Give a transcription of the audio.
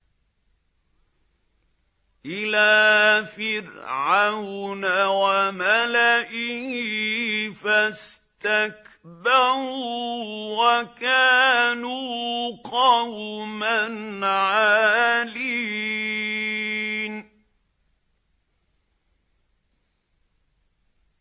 إِلَىٰ فِرْعَوْنَ وَمَلَئِهِ فَاسْتَكْبَرُوا وَكَانُوا قَوْمًا عَالِينَ